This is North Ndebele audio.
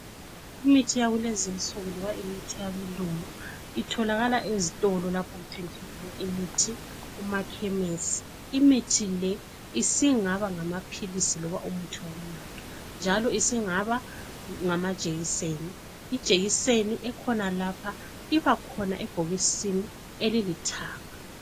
Imithi yakulezinsuku loba imithi yabelungu itholakala ezitolo lapho okuthengiswa khona imithi kumakhemisi imithi le isingaba ngamaphilisi loba umuthi wokunatha njalo isingaba ngama jekiseni ijekiseni ekhona lapha ibakhona ebhokisini elilithanga